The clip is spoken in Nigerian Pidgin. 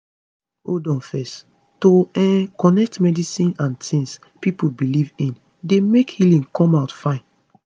hold on fezz to um connect medicine and tings pipo belief in dey make healing come out fine